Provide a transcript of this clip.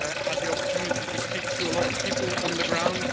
I had the opportunity to speak to a lot of people on the ground.